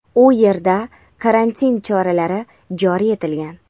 u yerda karantin choralari joriy etilgan.